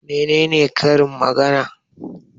Mene ne Karin magana?